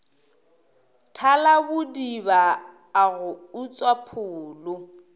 thalabodiba a go utswa pholo